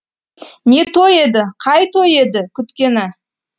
не той еді қай той еді күткені